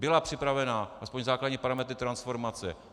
Byla připravena, aspoň základní parametry, transformace.